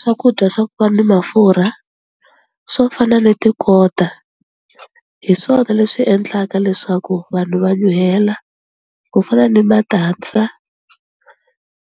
Swakudya swa ku va ni mafurha swo fana ni tikota hi swona leswi endlaka leswaku vanhu va nyuhela ku fana ni matandza